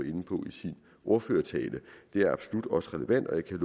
inde på i sin ordførertale det er absolut også relevant og jeg kan